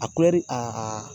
A